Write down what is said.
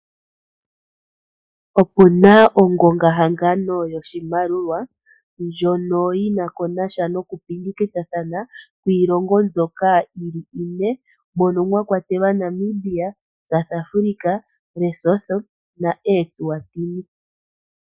Opu na ongongahangano yoshimaliwa, ndjono yi na sha nokupingathana iimaliwa miilongo yi li ine, mono mwa kwatelwa Namibia, South Africa, Lesotho naEswatini.